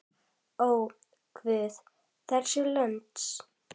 Ó, guð vors lands!